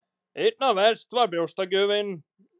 Einna verst var brjóstagjöfin.